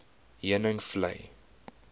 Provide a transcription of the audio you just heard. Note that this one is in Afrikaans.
heuningvlei